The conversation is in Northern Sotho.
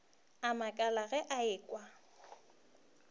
a makala ge a ekwa